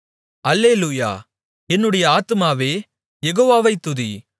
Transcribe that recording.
அல்லேலூயா என்னுடைய ஆத்துமாவே யெகோவாவை துதி